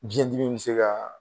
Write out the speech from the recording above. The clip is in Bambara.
Biyɛndimi bɛ se ka